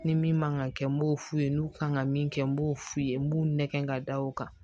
Ni min man kan ka kɛ n b'o f'u ye n'u kan ka min kɛ n b'o f'u ye n b'u nɛgɛn ka da o kan